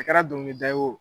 A kɛra dɔnkili da ye